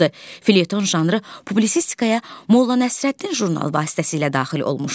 Fileton janrı publisistikaya Molla Nəsrəddin jurnalı vasitəsilə daxil olmuşdu.